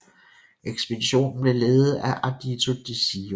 Ekspeditionen blev ledet af Ardito Desio